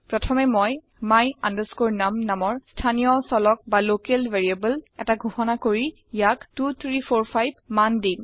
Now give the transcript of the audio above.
প্ৰথমে মই my num নামৰ স্থানীয় চলক বা লকেল ভেৰিয়েবল এটা ঘোষণা কৰি ইয়াক 2345 মান দিম